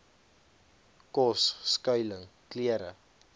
kos skuiling klere